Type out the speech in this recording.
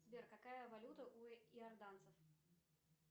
сбер какая валюта у иорданцев